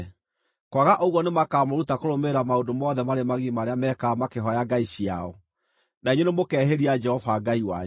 Kwaga ũguo nĩmakamũruta kũrũmĩrĩra maũndũ mothe marĩ magigi marĩa mekaga makĩhooya ngai ciao, na inyuĩ nĩmũkehĩria Jehova Ngai wanyu.